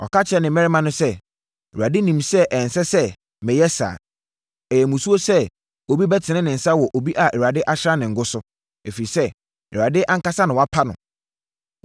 Ɔka kyerɛɛ ne mmarima no sɛ, “ Awurade nim sɛ ɛnsɛ sɛ meyɛ saa. Ɛyɛ musuo sɛ obi mɛtene me nsa wɔ obi a Awurade asra no ngo so; ɛfiri sɛ, Awurade ankasa na wapa no.”